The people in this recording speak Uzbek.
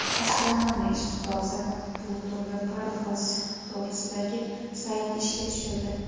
Astronomiya ishqibozi Plutonga parvoz to‘g‘risidagi saytni ishga tushirdi.